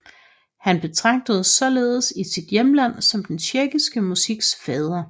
Han betragtes således i sit hjemland som den tjekkiske musiks fader